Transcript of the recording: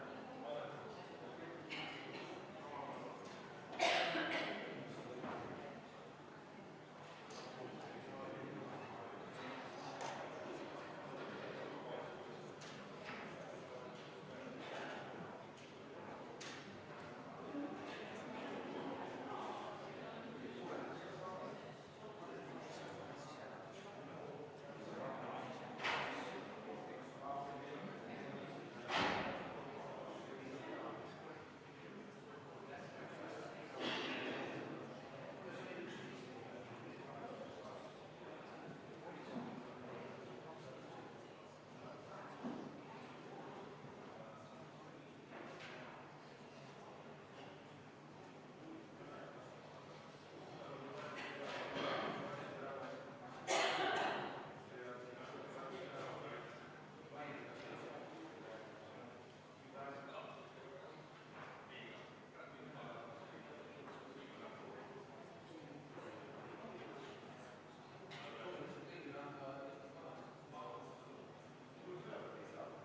Ma palun seda hääletada ja enne seda kümme minutit vaheaega!